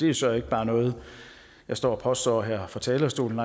jo så ikke bare noget jeg står og påstår her fra talerstolen